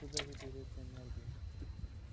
откуда же берётся энергия